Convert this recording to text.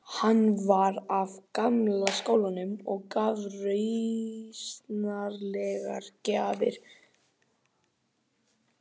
Hann fór að hitta Jón Bjarnason.